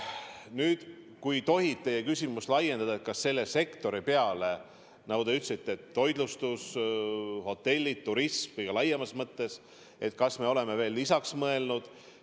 Nüüd, kui tohib teie küsimust laiendada, et kas me selle sektori peale – nagu te ütlesite, toitlustus, hotellid, turism kõige laiemas mõttes – oleme veel lisaks mõelnud.